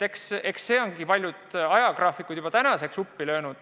See ongi paljud ajagraafikud juba uppi löönud.